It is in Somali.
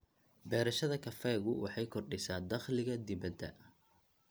Beerashada kafeegu waxay kordhisaa dakhliga dibadda.